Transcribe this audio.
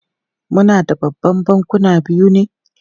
Muna da Babban Bankuna biyu ne?